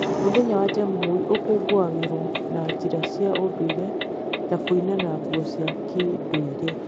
Mũthenya wa Jamhuri ũkũngũagĩrwo na njĩra cia ũndũire ta kũina na nguo cia kĩndũire.